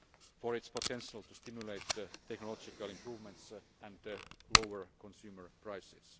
for its potential to stimulate technological improvements and lower consumer prices.